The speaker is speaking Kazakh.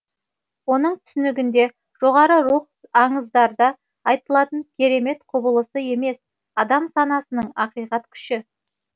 оның түсінігінде жоғары рух аңыздарда айтылатын керемет құбылысы емес адам санасының ақиқат күші